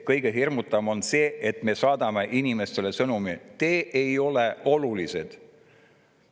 Kõige hirmutavam on see, et me saadame inimestele sõnumi: "Te ei ole olulised.